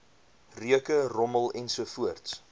reuke rommel ensovoorts